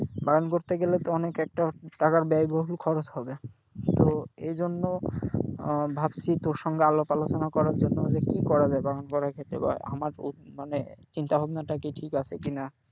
বাগান করতে গেলে তো অনেক একটা টাকার ব্যয়বহুল খরচ হবে, তো এই জন্য আহ ভাবছি তোর সঙ্গে আলাপ আলোচনা করার জন্য যে কি করা যায় বাগান করার ক্ষেত্রে বল আমার ও মানে চিন্তা ভাবনাটা কি ঠিক আছে কিনা,